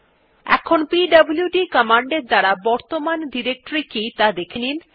এখন PWD command এর দ্বারা বর্তমান ডিরেক্টরী কি ত়া দেখেনি